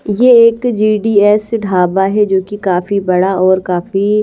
ये एक जीडीएस ढाबा है जो कि काफी बड़ा और काफी--